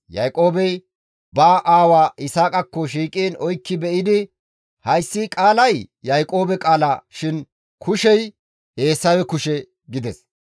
Yaaqoobey ba aawa Yisaaqakko shiiqiin oykki be7idi, «Hayssi qaalay Yaaqoobe qaala shin kushey Eesawe kushe» gides.